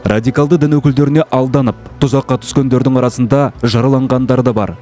радикалды дін өкілдеріне алданып тұзаққа түскендердің арасында жараланғандары да бар